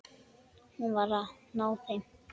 Hún var háð þeim.